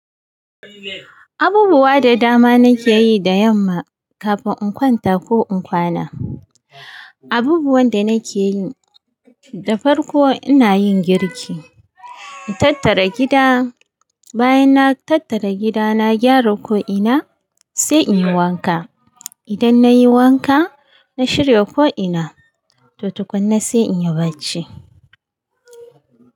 Abubuwa da dama nake yi da yamma kafin in kwanta ko in kwana. Abubuwan da nake yi, da farko ina yin girki, in tattara gida, bayan na tattara gida na gyara ko ina sai in yi wanka. Idan na yi wanka, na shirya ko ina, to tukunna sai in yi barci.